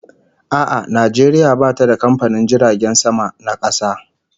A'a, Najeriya bata da kamfanin jiragen sama na kasa